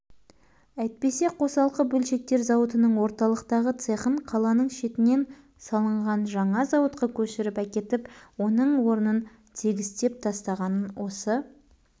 әйтпесе қосалқы бөлшектер зауытының орталықтағы цехын қаланың шетінен салынған жаңа зауытқа көшіріп әкетіп оның орнын тегістеп тастағанын осы